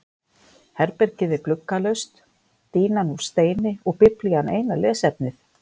Herbergið er gluggalaust, dýnan úr steini og Biblían eina lesefnið.